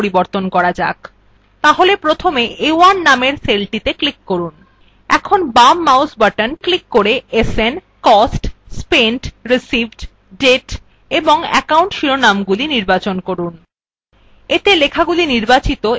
তাহলে প্রথমে a1 নামের cellটিতে click করুন বাঁদিকে click করে sn cost spent received date এবং account শিরোনামগুলি নির্বাচন করুন